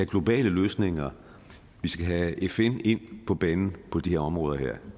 globale løsninger vi skal have fn ind på banen på de her områder det